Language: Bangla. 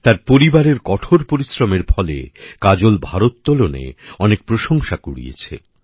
তার পরিবারের কঠোর পরিশ্রমে ফলে কাজল ভারোত্তোলনে অনেক প্রশংসা কুড়িয়েছে